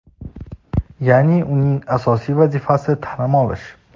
yaʼni uning asosiy vazifasi taʼlim olish.